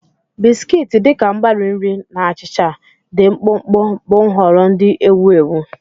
Biskiti, dị ka mgbari nri na achịcha dị mkpụmkpụ, bụ nhọrọ ndị ewu ewu.